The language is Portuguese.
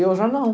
Eu já não.